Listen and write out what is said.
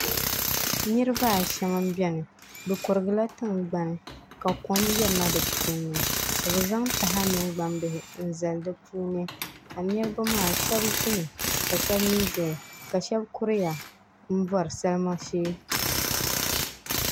Niraba ashɛm n biɛni bi kurigila tingbani ka kom yirina di puuni ka bi zaŋ taha mini gbambihi n zali di puuni ka niraba maa shab ʒimi ka shab mii ʒɛya ka shab kuriya n bori salima shee